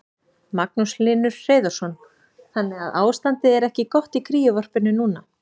Magnús Hlynur Hreiðarsson: Þannig að ástandið er ekki gott í kríuvarpinu núna?